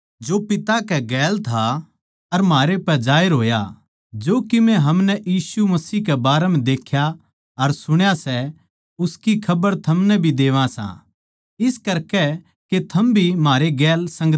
जो कीमे हमनै यीशु मसीह के बारें म्ह देख्या अर सुण्या सै उसकी खबर थमनै भी देवा सां इस करकै के थम भी म्हारै गैल संगति करो अर म्हारी या संगति पिता अर उसकै बेट्टै यीशु मसीह कै गैल सै